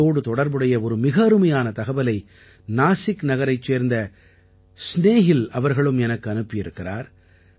இதோடு தொடர்புடைய ஒரு மிக அருமையான தகவலை நாசிக் நகரைச் சேர்ந்த ஸ்நேஹில் அவர்களும் எனக்கு அனுப்பி இருக்கிறார்